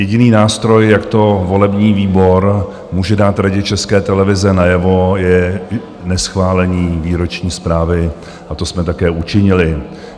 Jediný nástroj, jak to volební výbor může dát Radě České televize najevo, je neschválení výroční zprávy a to jsme také učinili.